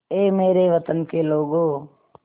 ऐ मेरे वतन के लोगों